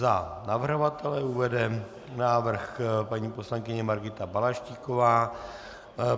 Za navrhovatele uvede návrh paní poslankyně Margita Balaštíková.